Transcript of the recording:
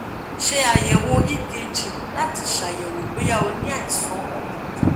ṣe ayẹwo ekg lati ṣayẹwo boya o ni àìsàn ọkan kan